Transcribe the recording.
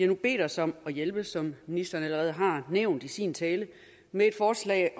nu bedt os om at hjælpe som ministeren allerede har nævnt i sin tale med et forslag